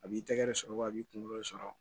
A b'i tɛgɛ de sɔrɔ wa a b'i kungolo sɔrɔ